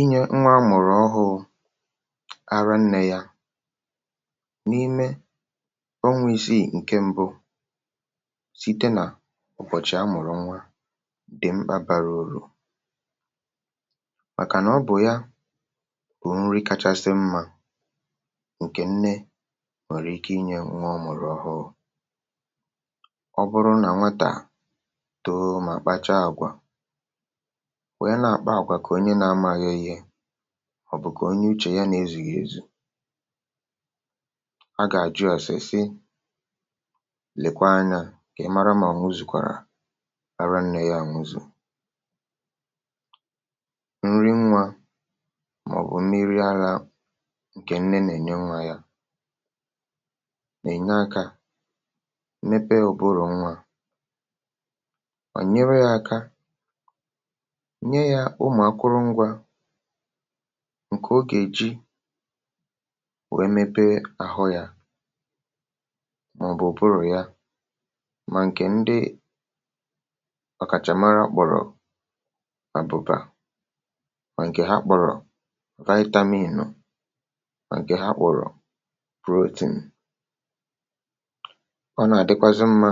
inyė nwa amụ̀rụ̀ ọhụ̇ụ̇ ara nnė yȧ n’ime ọ nwėisi ǹke mbụ, site nà ọ̀bọ̀chị̀ amụ̀rụ̀ nwa, dị̀ mkpabàrà òrò, màkà nà ọ bụ̀ ya bụ̀ nri kachasị mmȧ ǹkè nne nwère ike inye nwa ọmụ̀rụ̀ ọhụ ụ̀kwụ. ọ bụrụ nà nwatà too mà kpacha àgwà, ọ̀ bụ̀ kà onye uchè ya nà-ezùghi ezù, um a gà-àjụ ọ̀sịsị lèkwa anyȧ ǹkè mara mà o nzùkwàrà ara nne ya. nwuzù nri nwa màọ̀bụ̀ mmiri ȧlȧ, ǹkè nne nà-ènye nwa yȧ, nà-ènye akȧ mepee ụbụrụ̀ nwa, ǹkè ogè ji wèe mepe àhụ ya màọ̀bụ̀ burù ya. mà ǹkè ndị ọkàchàmara kpọ̀rọ̀ àbụ̀bà, mà ǹkè ha kpọ̀rọ̀ vitamin, mà ǹkè ha kpọ̀rọ̀ protein, ọ nà-àdịkwazị mmȧ